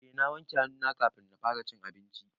Eh na wanke hannu na kafin na fara cin abinci.